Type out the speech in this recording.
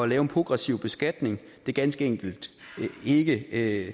lave progressiv beskatning ganske enkelt ikke er